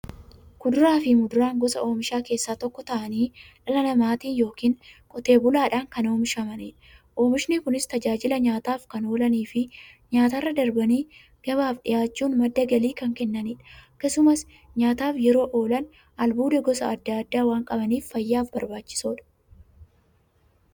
Kuduraafi muduraan gosa oomishaa keessaa tokko ta'anii, dhala namaatin yookiin Qotee bulaadhan kan oomishamaniidha. Oomishni Kunis, tajaajila nyaataf kan oolaniifi nyaatarra darbanii gabaaf dhiyaachuun madda galii kan kennaniidha. Akkasumas nyaataf yeroo oolan, albuuda gosa adda addaa waan qabaniif, fayyaaf barbaachisoodha.